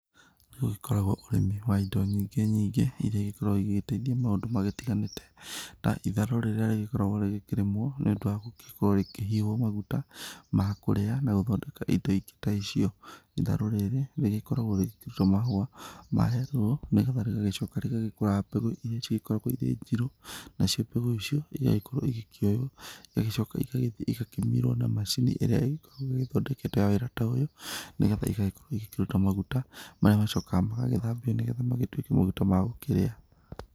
Nĩ gũgĩkoragwo ũrĩmi wa indo nyingĩ nyingĩ, iria igĩkoragwo igĩgĩteithia maũndu magĩtiganĩte ta itharũ rĩrĩa rĩgĩkoragwo rĩgĩkĩrĩmwo nĩ ũndũ wa gũgĩkorwo rĩkĩhihwo maguta ma kũrĩa na gũthondeka indo ingĩ ta icio. Itharũ rĩrĩ rĩgĩkoragwo rĩgĩkĩruta mahũa ma yellow nĩgetha rĩgagĩcoka rĩgagĩkũra mbegũ iria cigĩkoragwo irĩ njirũ, nacio mbegũ icio igagĩkorwo igĩkĩoywo, igagĩcoka igagĩthiĩ igakĩmirwo na macini ĩrĩa ĩgĩkoragwo ĩgĩthondeketwo ya wĩra ta ũyũ, nĩgetha igagĩkorwo igĩkĩruta maguta marĩa macokaga magagĩthambio nĩgetha magĩtuĩke maguta ma gũkĩrĩa.